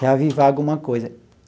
reavivar alguma coisa.